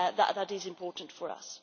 That is important for us.